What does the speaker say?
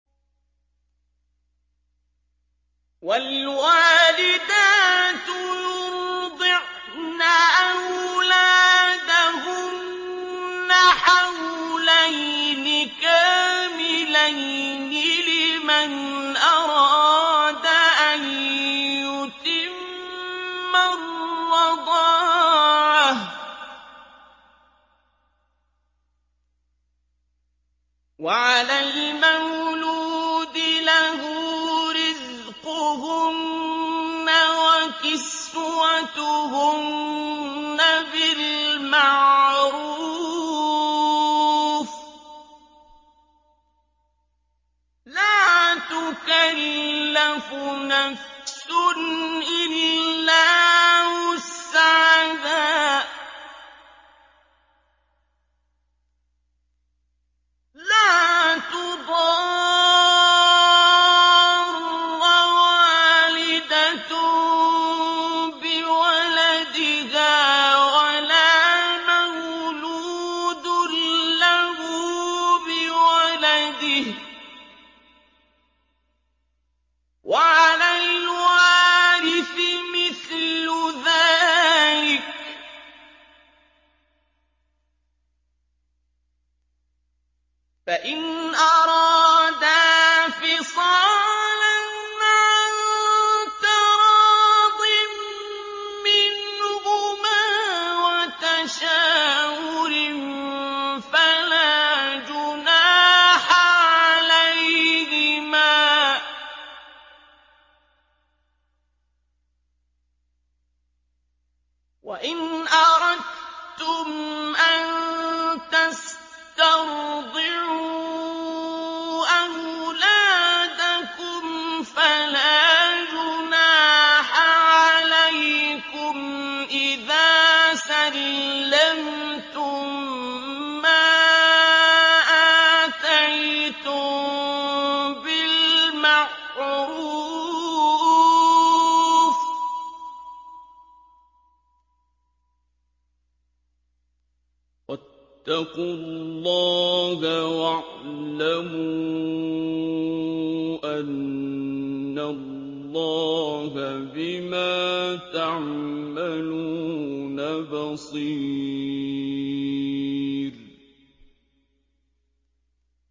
۞ وَالْوَالِدَاتُ يُرْضِعْنَ أَوْلَادَهُنَّ حَوْلَيْنِ كَامِلَيْنِ ۖ لِمَنْ أَرَادَ أَن يُتِمَّ الرَّضَاعَةَ ۚ وَعَلَى الْمَوْلُودِ لَهُ رِزْقُهُنَّ وَكِسْوَتُهُنَّ بِالْمَعْرُوفِ ۚ لَا تُكَلَّفُ نَفْسٌ إِلَّا وُسْعَهَا ۚ لَا تُضَارَّ وَالِدَةٌ بِوَلَدِهَا وَلَا مَوْلُودٌ لَّهُ بِوَلَدِهِ ۚ وَعَلَى الْوَارِثِ مِثْلُ ذَٰلِكَ ۗ فَإِنْ أَرَادَا فِصَالًا عَن تَرَاضٍ مِّنْهُمَا وَتَشَاوُرٍ فَلَا جُنَاحَ عَلَيْهِمَا ۗ وَإِنْ أَرَدتُّمْ أَن تَسْتَرْضِعُوا أَوْلَادَكُمْ فَلَا جُنَاحَ عَلَيْكُمْ إِذَا سَلَّمْتُم مَّا آتَيْتُم بِالْمَعْرُوفِ ۗ وَاتَّقُوا اللَّهَ وَاعْلَمُوا أَنَّ اللَّهَ بِمَا تَعْمَلُونَ بَصِيرٌ